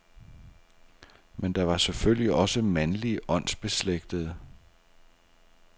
Men der var selvfølgelig også mandlige åndsbeslægtede.